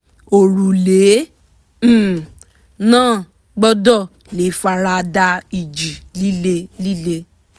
òrùlé um náà gbọ́dọ̀ lè fara da ìjì líle líle